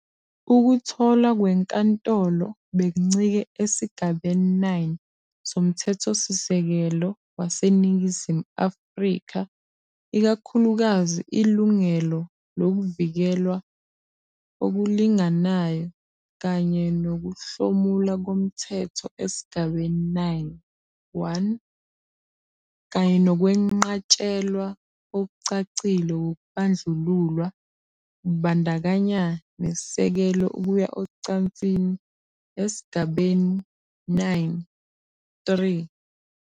Ukutholwa kwenkantolo bekuncike esigabeni 9 soMthethosisekelo waseNingizimu Afrika, ikakhulukazi ilungelo lokuvikelwa okulinganayo kanye nokuhlomula komthetho esigabeni 9, 1, kanye nokwenqatshelwa okucacile kokubandlululwa, kubandakanya nesisekelo Ukuya ocansini, esigabeni. 9, 3.